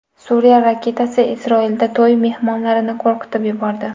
Suriya raketasi Isroilda to‘y mehmonlarini qo‘rqitib yubordi .